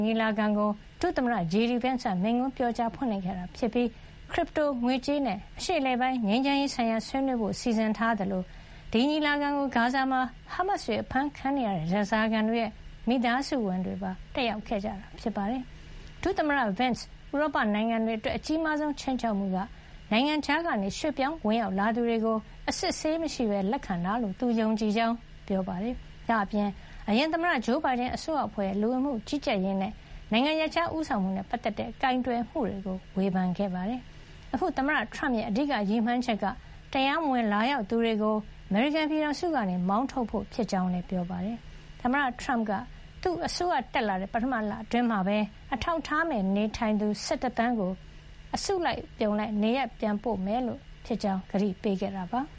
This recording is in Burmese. ညီလာခံကို ဒုသမ္မတ JD Vance က မိန့်ခွန်းပြောကြား ဖွင့်လှစ်ခဲ့တာ ဖြစ်ပြီး Crypto ငွေကြေးနဲ့ အရှေ့အလယ်ပိုင်း ငြိမ်းချမ်းရေး ဆိုင်ရာဆွေးနွေးဖို့ စီစဉ်ထားသလို၊ ဒီညီလာခံကို ဂါဇာမှာ ဟားမတ်စ်တွေ အဖမ်းခံနေရတဲ့ ဓားစားခံတွေရဲ့ မိသားစုဝင် တွေပါ တက်ရောက်ခဲ့ကြတာ ဖြစ်ပါတယ်။ ဒုသမ္မတ Vance ဥရောပနိုင်ငံတွေ အတွက် အကြီးမားဆုံး ခြိမ်းခြောက်မှုက နိုင်ငံခြားက ရွှေ့ပြောင်း ဝင်ရောက်လာသူတွေ ကို အစစ်ဆေးမရှိ လက်ခံတာ လို့ သူယုံကြည်ကြောင်း ပြောပါတယ်။ ဒါ့အပြင် အရင်သမ္မတဂျိုးဘိုင်ဒန် အစိုးရဖွဲ့ရဲ့ လူဝင်မှုကြီးကြပ်ရေးနဲ့ နိုင်ငံရပ်ခြားဦးဆောင်မှုနဲ့ ပတ်သက်တဲ့ ကိုင်တွယ်မှုတွေကို ဝေဖန်ခဲ့ပါတယ်။ အခု သမ္မတထရမ့်ရဲ့ အဓိက ရည်မှန်းချက်က တရားမဝင် လာရောက်သူတွေကို အမေရိကန် ပြည်ထောင်စုကနေ မောင်းထုတ်ဖို့ ဖြစ်ကြောင်း ပြောပါတယ်။ သမ္မတထရမ့်က သူ့အစိုးရ တက်လာတဲ့ ပထမ လအတွင်းမှာပဲ အထောက်ထားမဲ့ နေထိုင်သူ ၁၁ သန်းကို စ အစုလိုက် နေရပ်ပြန်ပို့မှာ ဖြစ်ကြောင်း ကတိပေး ခဲ့တာပါ။